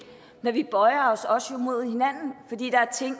men vi bøjer os jo også imod hinanden fordi der er ting